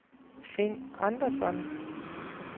Finn Andersson